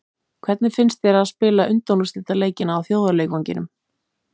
Hvernig finnst þér að spila undanúrslitaleikina á þjóðarleikvanginum?